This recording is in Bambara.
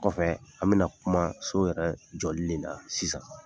Kɔfɛ an bɛna kuma so yɛrɛ jɔli le la sisan.